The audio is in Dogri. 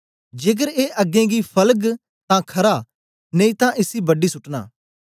जेकर ए अगें गी फलग तां खरा नेई तां इसी बडी सुटना